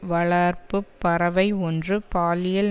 வளர்ப்பு பறவை ஒன்று பாலியல்